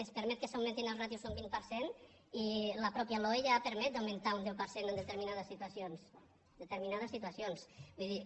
es permet que s’augmentin les ràtios un vint per cent i la mateixa loe ja permet augmentar un deu per cent en determinades situacions determinades situacions vull dir